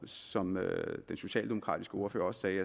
som den socialdemokratiske ordfører sagde